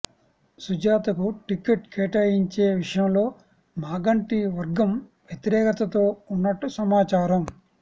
సుజాతకు ticket కేటాయించే విషయంలో మాగంటి వర్గం వ్యతిరేకతతో ఉన్నట్టు సమాచారం